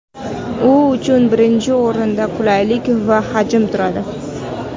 U uchun birinchi o‘rinda qulaylik va hajm turadi.